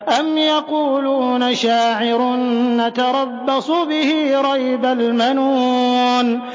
أَمْ يَقُولُونَ شَاعِرٌ نَّتَرَبَّصُ بِهِ رَيْبَ الْمَنُونِ